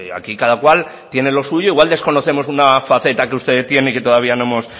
aquí cada cual tiene lo suyo igual desconocemos una faceta que usted tiene y que todavía no hemos